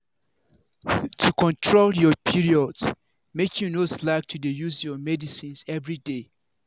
to control your period make you no slack to dey use your medicines everyday.